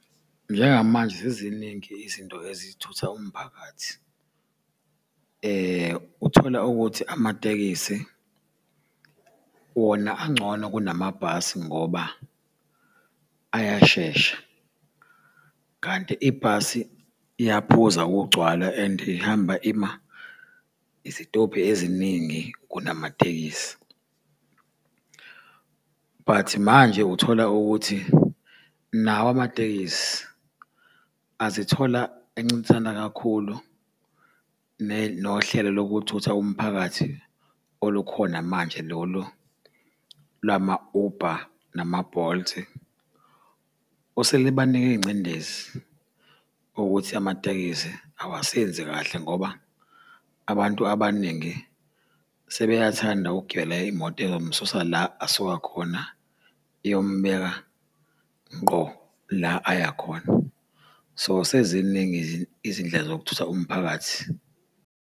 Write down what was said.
Njengamanje seziningi izinto ezithutha umphakathi. Uthola ukuthi amatekisi wona angcono kunamabhasi ngoba ayashesha, kanti ibhasi iyaphuza ukugcwala and ihamba ima izitobhi eziningi kunamatekisi. But manje uthola ukuthi nawo amatekisi azithola encintisana kakhulu nohlelo lokuthutha umphakathi olukhona manje lolu lwama-Uber nama-Bolt. Oselibanike ingcindezi ukuthi amatekisi awasenzi kahle ngoba abantu abaningi sebeyathanda ukugibela imoto ezomususa la asuka khona, iyomubeka ngqo la aya khona. So, seziningi izindlela zokuthutha umphakathi.